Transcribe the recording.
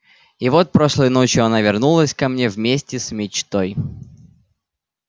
и вот прошлой ночью она вернулась ко мне вместе с мечтой